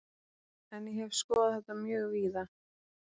En ég hef skoðað þetta mjög víða.